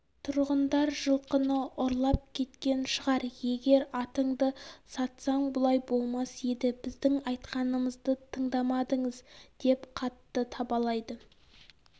тұрғындар жылқыны ұрлап кеткен шығар егер атыңды сатсаң бұлай болмас еді біздің айтқанымызды тыңдамадыңыз деп қартты табалайды